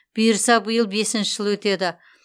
бұйырса биыл бесінші жыл өтеді